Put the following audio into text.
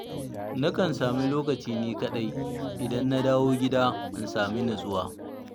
Na kan sami lokaci ni kaɗai, idan na dawo gida in sami nutsuwa.